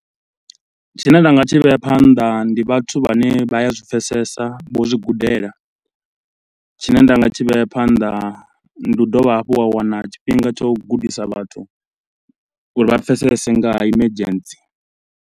Tshine nda nga tshi vhea phanḓa ndi vhathu vhane vha a zwipfesesa, vho zwi gudela. Tshine ndanga tshi vhea phanḓa ndi u dovha hafhu wa wana tshifhinga tsha u gudisa vhathu uri vha pfesese ngaha emergency.